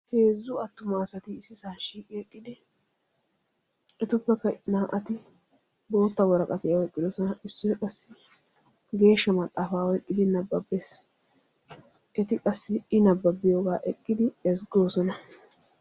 Heezzu attuma asati issisaa shiiqi eqqidi hetupekka naa"ati bootta woraqatiyaa oyqqidosona. issoy qassi geeshsha maxaafaa oyqqidi nababbees. eti qassi i nabbabiyoogaa eqqidi eziggoosona.